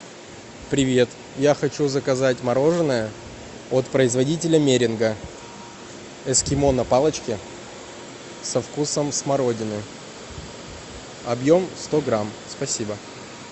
привет я хочу заказать мороженое от производителя меринга эскимо на палочке со вкусом смородины объем сто грамм спасибо